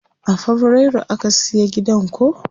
A fabrairu aka siya gidan ko?